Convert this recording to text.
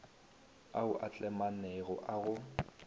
ao a tlemaganego a go